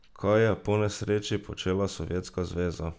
Kaj je po nesreči počela Sovjetska zveza?